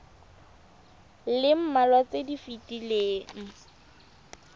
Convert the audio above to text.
le mmalwa tse di fetileng